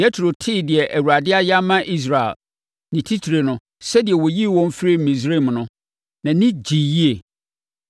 Yetro tee deɛ Awurade ayɛ ama Israel, ne titire no, sɛdeɛ ɔyii wɔn firii Misraim no, nʼani gyee yie.